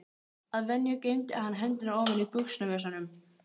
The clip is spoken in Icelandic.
Að venju geymdi hann hendurnar ofan í buxnavösunum.